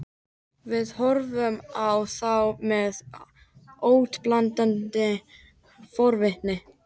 Við horfðum á þá með óttablandinni forvitni.